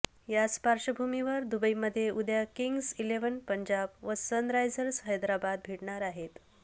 याच पार्श्वभूमीवर दुबईमध्ये उद्या किंग्ज इलेव्हन पंजाब व सनरायझर्स हैदराबाद भिडणार आहेत